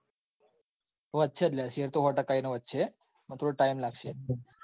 વધશે જ લ્યા શેર. તો સો ટકા એનો વધશે પણ થોડો લાગશે.